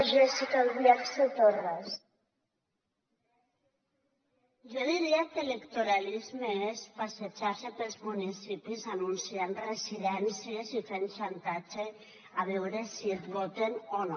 jo diria que electoralisme és passejar se pels municipis anunciant residències i fent xantatge a veure si et voten o no